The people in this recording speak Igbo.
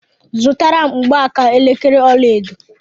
Zụtara m mgbaaka elekere ọlaedo!